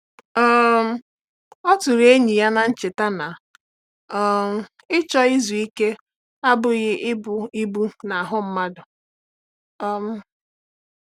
um Ọ tụrụ enyi ya n’cheta na um ịchọ izu ike abụghị ịbụ ibu n’ahụ mmadụ. um